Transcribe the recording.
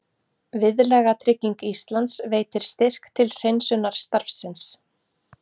Viðlagatrygging Íslands veitir styrk til hreinsunarstarfsins